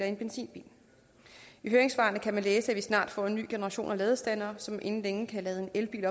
en benzinbil i høringssvarene kan man læse at vi snart får en ny generation af ladestandere som inden længe kan lade en elbil